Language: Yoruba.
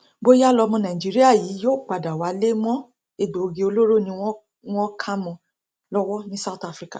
bóyá lọmọ nàìjíríà yìí yóò padà wálé mọ egbòogi olóró ni wọn wọn kà mọ ọn lọwọ ní south africa